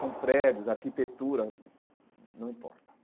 São prédios, arquitetura, não importa.